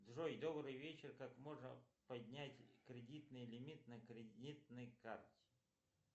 джой добрый вечер как можно поднять кредитный лимит на кредитной карте